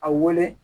A wele